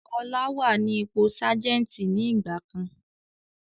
Ọlá wá ní ipò Sajẹ́ntí ni ìgbàkan.